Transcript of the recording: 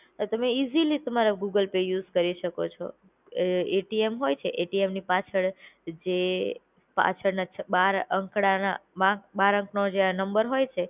તમે ઈઝીલી તમારા Google Pay use કરી શકો છો. અ એટીએમ હોય છે એટીએમ પાછળ જે પાછળના ચા બાર અંખડાના બા બાર અંખનો જે નંબર હોય છે